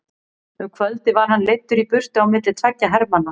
Um kvöldið var hann leiddur í burtu á milli tveggja hermanna.